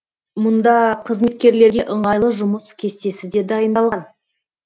мұнда қызметкерлерге ыңғайлы жұмыс кестесі де дайындалған